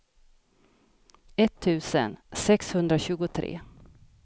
etttusen sexhundratjugotre